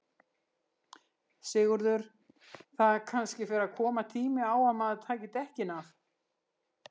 Sigurður: Það kannski fer að koma tími á að maður taki dekkin af?